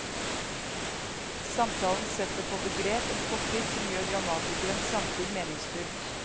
Samtalen setter på begrep en fortid som gjør dramatikerens samtid meningsfylt.